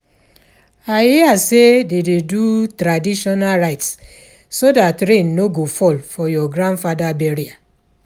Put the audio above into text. I hear say dey do traditional rites so dat rain no go fall for your grandfather burial.